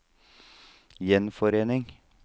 gjenforening